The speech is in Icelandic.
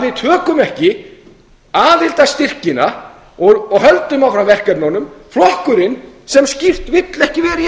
við tökum ekki aðildarstyrkina og höldum okkur að verkefnunum flokkurinn sem skýrt vill ekki vera